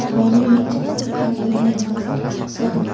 iano me·chik sakgittam aro me·asa saksa donga.